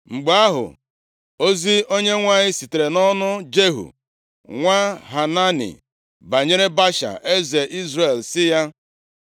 Mgbe ahụ, ozi Onyenwe anyị sitere nʼọnụ Jehu, nwa Hanani banyere Baasha, eze Izrel sị ya,